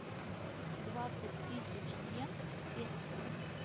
двадцать тысяч иен в песо